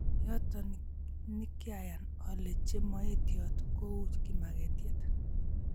Yoto nikyayan ale chemoetiot kou kimaketiet